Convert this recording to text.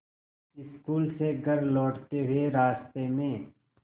school से घर लौटते हुए रास्ते में